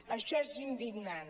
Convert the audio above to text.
això és indignant